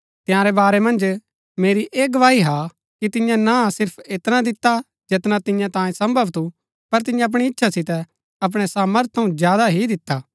तंयारै बारै मन्ज मेरी ऐह गवाही हा कि तियें ना सिर्फ ऐतना दिता जैतना तियां तांयै सम्भव थू पर तियें अपणी इच्छा सितै अपणै सामर्थ थऊँ ज्यादा ही दिता